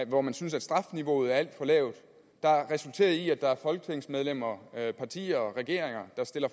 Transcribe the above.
hvor man synes at strafniveauet er alt for lavt der resulterer i at der er folketingsmedlemmer partier regeringer der stiller